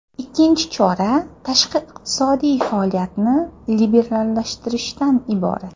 Ikkinchi chora tashqi iqtisodiy faoliyatni liberallashtirishdan iborat.